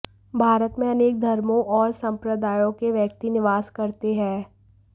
भारत में अनेक धर्मों और सम्प्रदायों के व्यक्ति निवास करते हैं